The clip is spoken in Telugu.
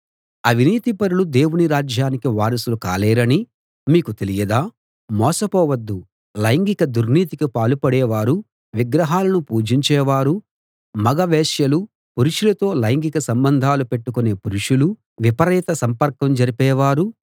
అవినీతిపరులు దేవుని రాజ్యానికి వారసులు కాలేరని మీకు తెలియదా మోసపోవద్దు లైంగిక దుర్నీతికి పాలుపడే వారూ విగ్రహాలను పూజించేవారూ మగ వేశ్యలు పురుషులతో లైంగిక సంబంధాలు పెట్టుకొనే పురుషులూ విపరీత సంపర్కం జరిపే వారూ